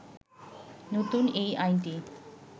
নতুন এই আইনটি